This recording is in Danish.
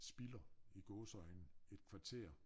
Spilder i gåseøjne et kvarter